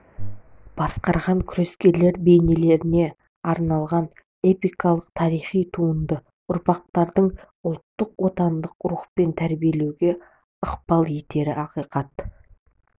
басқарған күрескерлер бейнелеріне арналған эпикалық тарихи туынды ұрпақтарды ұлттық отаншылдық рухпен тәрбиелеуге ықпал етері ақиқат